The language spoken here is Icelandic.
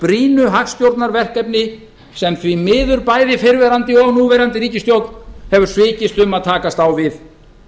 brýnu hagstjórnarverkefni sem því miður bæði fyrrverandi og núverandi ríkisstjórn hafa algjörlega svikist um að takast á við